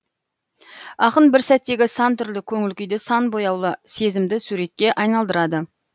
ақын бір сәттегі сан түрлі көңіл күйді сан бояулы сезімді суретке айналдырады